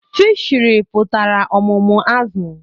Fishiri pụtara ọmụmụ azụ̀